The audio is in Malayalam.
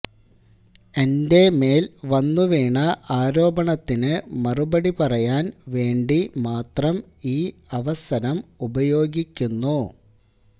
എന്റെ മേല് വന്നുവീണ ആരോപണത്തിന് മറുപടി പറയാന് വേണ്ടി മാത്രം ഈ അവസരം ഉപയോഗിക്കുന്നു